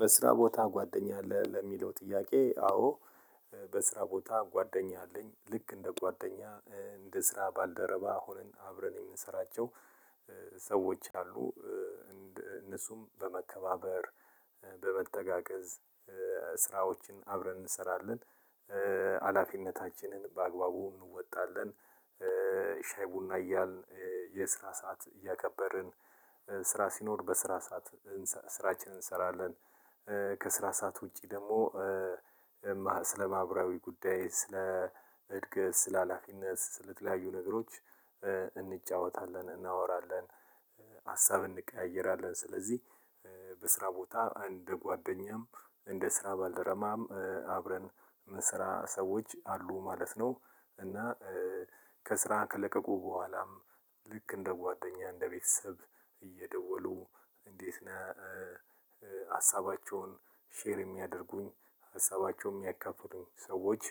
በስራ ቦታ ጓደኛ አለ ለሚለው ጥያቄ አዎ። በስራ ቦታ ጓደኛ አለኝ ልክ እንደ ጓደኛ እንደ ስራ ባልደረባ ሆነን አብረን የምንሰራቸው ሰዎች አሉ። እነሱም በመከባበር በመተጋገዝ ስራዎችን አብረን እንሰራለን። ሀላፊነታችንን በአግባቡ እንወጣለን። ሻይ ቡና እያልን የስራ ሰዓት እያከበርን ስራ ሲኖር በስራ ሰዓት ስራችንን እንሰራለን። ከስራ ሰዓት ውጪ ደግሞ ስለ ማህበራዊ ጉዳይ ስለ እድገት ስለ ሀላፊነት ስለተለያዩ ነገሮች እንጫወታለን እናወራለን። ሀሳብ እንቀያየራለን ስለዚህ በስራ ቦታ አንድ ጓደኛም እንደ ስራ ባልረማም አብረን የምሰራ ሰዎች አሉ ማለት ነው። እና ከስራ ከለቀቁ በኋላም ልክ እንደ ጓደኛ እንደ ቤተሰብ እየደወሉ እንዴት ነህ? ሀሳባቸውን ሼር የሚያደርጉኝ ሀሳባቸውን የሚያካፉሉኝ ሰዎች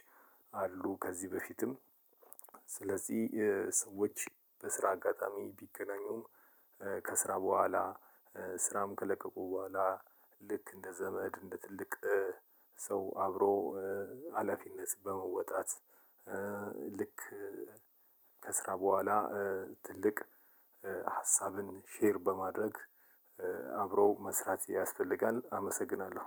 አሉ። ከዚህ በፊትም ስለዚህ ሰዎች በስራ አጋጣሚ ቢገናኙም ከስራ በኋላ ስራም ከለቀቁ በኋላ ልክ እንደ ዘመድ እንደ ትልቅ ሰው አብሮ ሀላፊነት በመወጣት። ልክ ከስራ በኋላ ትልቅ ሀሳብን ሼር በማድረግ አብሮ መስራት ያስፈልጋል አመሰግናለሁ።